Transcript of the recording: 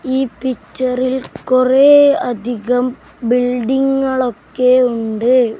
ഈ പിക്ചറിൽ കുറെ അധികം ബിൽഡിങ്ങുകൾ ഒക്കെ ഉണ്ട്.